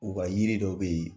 U ka yiri dɔ bɛ yen.